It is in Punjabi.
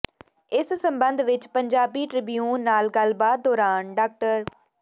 ਇਸ ਸਬੰਧ ਵਿਚ ਪੰਜਾਬੀ ਟ੍ਰਿਬਿਊਨ ਨਾਲ ਗੱਲਬਾਤ ਦੌਰਾਨ ਡਾ